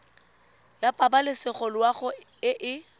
ya pabalesego loago e e